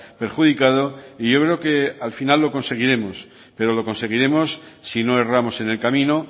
perjudicado y yo creo que al final lo conseguiremos pero lo conseguiremos si no erramos en el camino